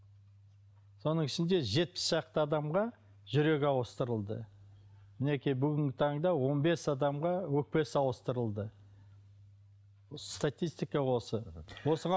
соның ішінде жетпіс шақты адамға жүрегі ауыстырылды мінекей бүгінгі таңда он бес адамға өкпесі ауыстырылды статистика осы